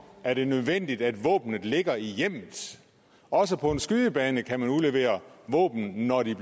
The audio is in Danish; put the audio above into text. er det nødvendigt at våbnene ligger i hjemmet også på en skydebane kan man udlevere våbnene når de